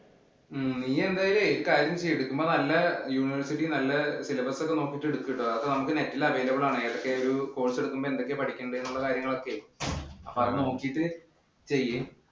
ഉം നീ എന്തായാലുമേ ഒരു കാര്യം ചെയ്യൂ. എടുക്കുമ്പം നല്ല university ക്ക് നല്ല syllabus ഉം നോക്കീട്ടു എടുക്കൂ കേട്ടോ. അതൊക്കെ net ഇല് available ആണ്. ഏതൊക്കെ ഒരു course എടുക്കുമ്പോൾ എന്തൊക്കെ പഠിക്കേണ്ടെന്നുള്ള കാര്യങ്ങളൊക്കെ അപ്പൊ അത് നോക്കീട്ട് ചെയ്യ്.